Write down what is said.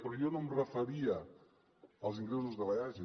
però jo no em referia als ingressos de l’eaja